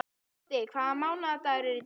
Sigvaldi, hvaða mánaðardagur er í dag?